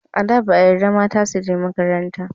A da, ba a yarda mata su je makaranta.